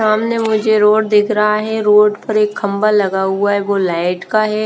सामने मुझे रोड दिख रहा है रोड पर एक खंभा लगा हुआ है वो लाइट का है।